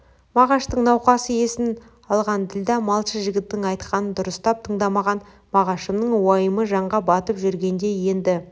мағаштың науқасы есін алған ділдә малшы жігіттің айтқанын дұрыстап тыңдамаған мағашымның уайымы жанға батып жүргенде енді